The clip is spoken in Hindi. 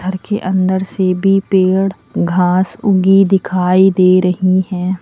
देखिए अंदर से भी पेड़ घास उगी दिखाई दे रही हैं।